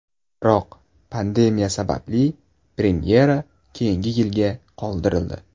Biroq pandemiya sababli premyera keyingi yilga qoldirildi.